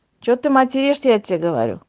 что ты материшься я тебе говорю